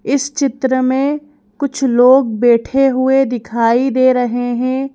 इस चित्र में कुछ लोग बैठे हुए दिखाई दे रहे हैं।